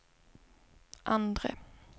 andre